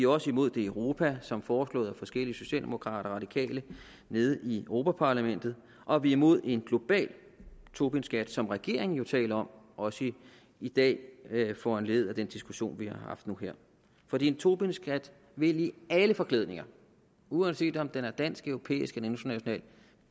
også imod det i europa som foreslået af forskellige socialdemokrater og radikale nede i europa parlamentet og vi er imod en global tobinskat som regeringen jo taler om også i i dag foranlediget af den diskussion vi har haft nu her for en tobinskat vil i alle forklædninger uanset om den er dansk europæisk eller international